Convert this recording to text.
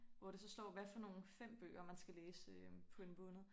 Hvor det så står hvad for nogen 5 bøger man skal læse øh på en måned